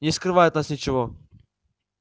не скрывай от нас ничего